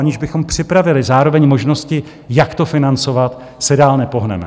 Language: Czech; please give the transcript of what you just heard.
Aniž bychom připravili zároveň možnosti, jak to financovat, se dál nepohneme.